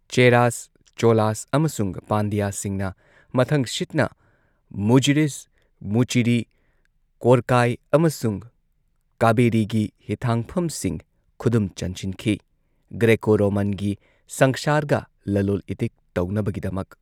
ꯆꯦꯔꯥꯁ, ꯆꯣꯂꯥꯁ ꯑꯃꯁꯨꯡ ꯄꯥꯟꯗ꯭ꯌꯥꯁꯁꯤꯡꯅ ꯃꯊꯪꯁꯤꯠꯅ ꯃꯨꯖꯤꯔꯤꯁ ꯃꯨꯆꯤꯔꯤ, ꯀꯣꯔꯀꯥꯏ ꯑꯃꯁꯨꯡ ꯀꯥꯚꯦꯔꯤꯒꯤ ꯍꯤꯊꯥꯡꯐꯝꯁꯤꯡ ꯈꯨꯗꯨꯝ ꯆꯟꯁꯤꯟꯈꯤ ꯒ꯭ꯔꯦꯀꯣ ꯔꯣꯃꯥꯟꯒꯤ ꯁꯪꯁꯥꯔꯒ ꯂꯂꯣꯜ ꯏꯇꯤꯛ ꯇꯧꯅꯕꯒꯤꯗꯃꯛ꯫